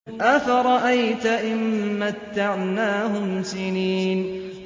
أَفَرَأَيْتَ إِن مَّتَّعْنَاهُمْ سِنِينَ